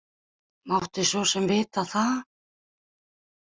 Mátti svo sem vita það.